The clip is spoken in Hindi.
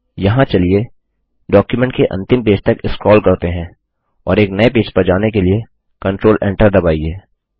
यहाँ चलिए डॉक्युमेंट के अंतिम पेज तक स्क्रोल करते हैं और एक नये पेज पर जाने के लिए कंट्रोल Enter दबाइए